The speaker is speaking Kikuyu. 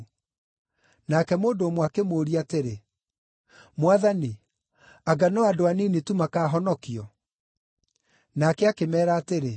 Nake mũndũ ũmwe akĩmũũria atĩrĩ, “Mwathani anga no andũ anini tu makahonokio?” Nake akĩmeera atĩrĩ,